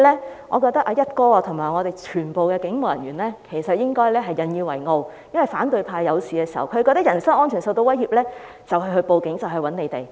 因此，我覺得"一哥"和全體警務人員都應該引以為傲，因為反對派遇事、覺得人身安全受到威脅便會報案找警隊幫忙。